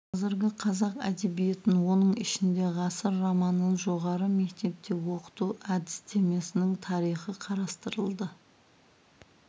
қазіргі қазақ әдебиетін оның ішінде ғасыр романын жоғары мектепте оқыту әдістемесінің тарихы қарастырылды